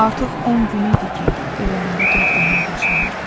Artıq 10 gün idi ki, evlərində gərginlik yaşanırdı.